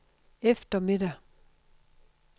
eftermiddag